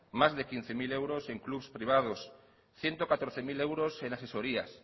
más de quince mil euros en clubs privados ciento catorce mil euros en asesorías